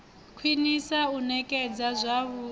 khwinisa u nekedzwa zwavhui ha